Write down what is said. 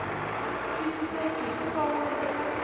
twisiseki hikuva wu ri ka